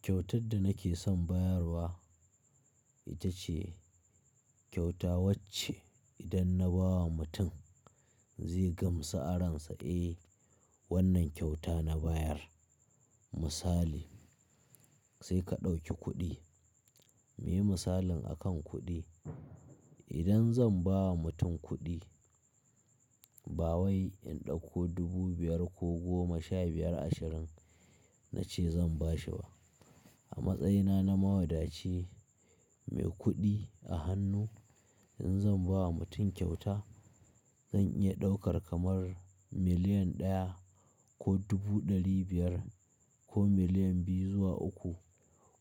Kyautar da nake son bayarwa ita ce kyauta wacce idan na ba wa mutum zai gam sa'ararsa "Eh wannan kyauta na bayar", misali sai ka ɗauki kuɗi. Muyi misalin akan kuɗi, idan zan ba wa mutum kuɗi bawai in ɗauko dubu biyar ko goma, sha biyar, ashirin nace zan ba shi ba. A matsayina na mawadaci mai kuɗi a hannu in zan ba wa mutum kyauta zan iya ɗaukar kamar miliyan ɗaya ko dubu ɗari biyar ko miliyan biyu zuwa uku